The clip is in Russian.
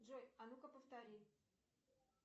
джой а ну ка повтори